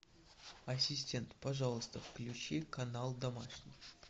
ассистент пожалуйста включи канал домашний